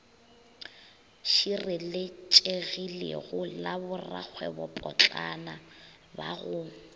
šireletšegilego la borakgwebopotlana ba go